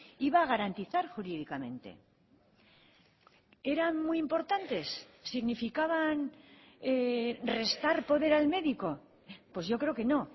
iba a garantizar jurídicamente eran muy importantes significaban restar poder al médico pues yo creo que no